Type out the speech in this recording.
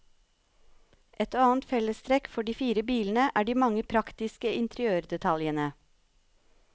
Et annet fellestrekk for de fire bilene er de mange praktiske interiørdetaljene.